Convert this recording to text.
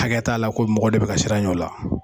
Hakɛya t'a la, ko mɔgɔ de bɛ ka sir'a ɲɛ o la.